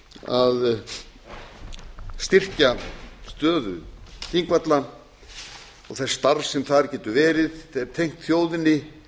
að styrkja stöðu þingvalla og þess starfs sem þar getur verið tengt þjóðinni